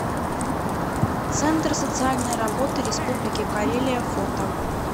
центр социальной работы республики карелия фото